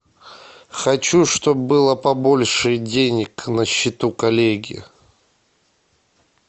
хочу чтоб было побольше денег на счету коллеги